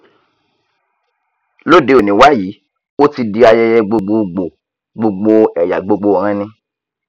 lóde òní wàyí ó ti di ayẹyẹ gbogbo gbòò gbogbo ẹyà gbogbo ìran ni